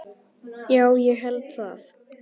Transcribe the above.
Já, ég held það.